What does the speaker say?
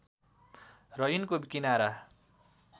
र यिनको किनारा